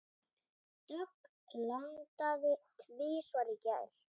Dögg landaði tvisvar í gær.